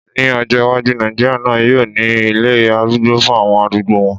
Ní ọjọ́ iwájú, Nàìjíríà náà yóò ní ilé arúgbó fún àwọn arúgbó wọn